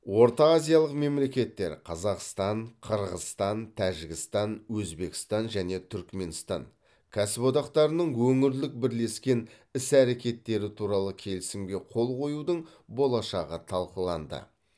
ортаазиялық мемлекеттер қазақстан қырғызстан тәжікстан өзбекстан және түркіменстан кәсіподақтарының өңірлік бірлескен іс әрекеттері туралы келісімге қол қоюдың болашағы талқыланды